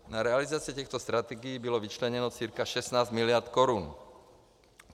Na realizaci těchto strategií bylo vyčleněno cca 16 miliard korun.